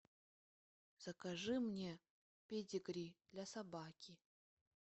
закажи мне педигри для собаки